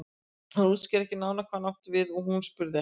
Hann útskýrði ekki nánar hvað hann átti við og hún spurði ekki.